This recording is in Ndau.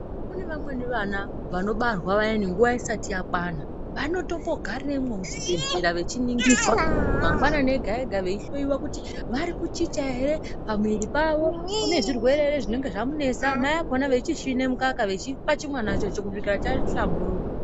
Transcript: Kune vamweni vana vanobarwa vaya i nguwa isati yakwana vanotombo garamo muchibhedhlera vechiningirwa mangwanani ega ega veihloiwa kuti vari kuchicha ere pamwiri pavo unezvirwe ere zvinenge zvamunesa mai akona echisvina mukaka vechipa chimwanacho kusvika chahlamburuka.